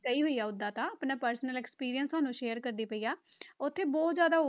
ਗਈ ਹੋਈ ਹਾਂ ਓਦਾਂ ਤਾਂ ਆਪਣਾ personal experience ਤੁਹਾਨੂੰ share ਕਰਦੀ ਪਈ ਹਾਂ, ਉੱਥੇ ਬਹੁਤ ਜ਼ਿਆਦਾ,